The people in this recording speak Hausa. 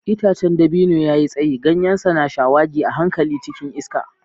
Itacen dabino ya yi tsayi, ganyensa na shawagi a hankali cikin iska.